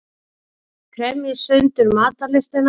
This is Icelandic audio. Kremji sundur matarlystina.